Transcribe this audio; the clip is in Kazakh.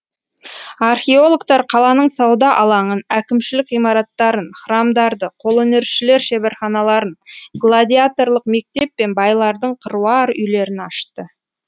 археологтар қаланың сауда алаңын әкімшілік ғимараттарын храмдарды қолөнершілер шеберханаларын гладиаторлық мектеп пен байлардың қыруар үйлерін ашты